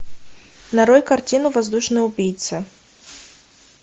нарой картину воздушный убийца